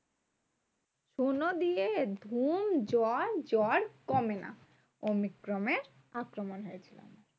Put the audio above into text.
শুনো দিয়ে ধুম জ্বর। জ্বর কমে না omicron এর আক্রমণ হয়েছিল।